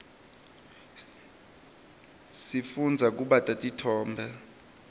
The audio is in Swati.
sifundza kubata titfombe